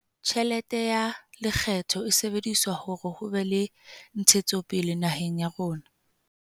Tjhelete ya lekgetho e sebedisetswa hore ho be le ntshetsopele naheng ya rona.